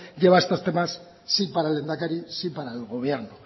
lleva estos temas sí para el lehendakari sí para el gobierno